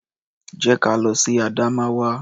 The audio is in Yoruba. Jẹ́ ka lọ sí Adamawa.